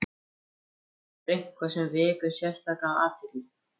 Er eitthvað sem vekur sérstaka athygli?